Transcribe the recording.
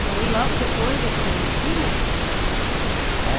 E aí logo depois é que veio o filho, o primeiro filho?